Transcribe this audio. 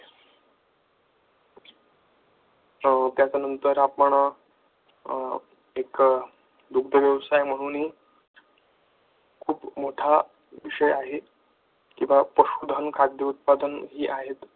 त्याच्यानंतर आपण एक दुग्ध व्यवसाय म्हणून खूप मोठा विषय आहे किंवा पशुधन खाद्य उत्पादन आहेत.